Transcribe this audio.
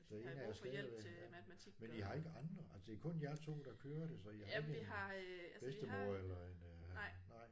Den ene er stadigvæk men I har ikke andre altså det er kun jer 2 der kører det så I har ikke en bedstemor eller en nej